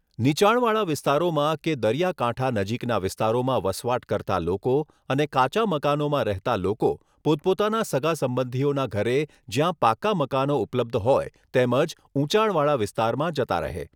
નીચાણવાળા વિસ્તારોમાં કે દરિયા કાંઠા નજીકના વિસ્તારોમાં વસવાટ કરતા લોકો અને કાચા મકાનોમાં રહેતા લોકો પોતપોતાના સગાસંબંધીઓના ઘરે જ્યાં પાકા મકાનો ઉપલબ્ધ હોય તેમજ ઉચાણવાળા વિસ્તારમાં જતા રહે.